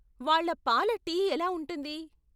వాళ్ళ పాల టీ ఎలా ఉంటుంది?